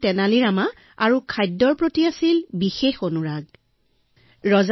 যদি তেওঁৰ কোনো দোষ আছিল সেয়া হল নিজৰ মন্ত্ৰী তেনালী ৰামাৰ প্ৰতি ভাল পোনা আৰু আনটো ভোজন বিলাসিতা